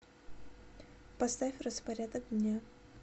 поставь распорядок дня